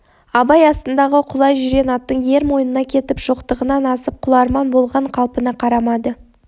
абай астындағы құла жирен аттың ер мойнына кетіп шоқтығынан асып құларман болған қалпына қарамады